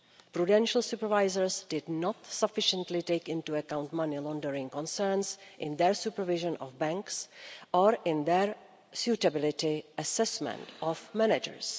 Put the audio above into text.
Prudential supervisors did not sufficiently take into account money laundering concerns in their supervision of banks or in their suitability assessment of managers.